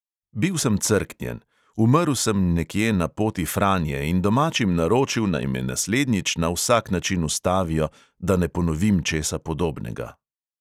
Bil sem "crknjen", umrl sem nekje na poti franje in domačim naročil, naj me naslednjič na vsak način ustavijo, da ne ponovim česa podobnega!